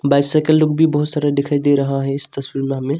Bicycle लोग भी बहुत सारा दिखाई दे रहा है इस तस्वीर में हमें।